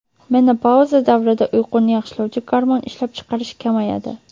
Menopauza davrida uyquni yaxshilovchi gormon ishlab chiqarish kamayadi.